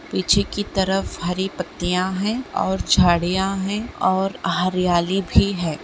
पीछे की तरफ हरी पत्तियां है। और झाड़ियां हैं और हरियाली भी है।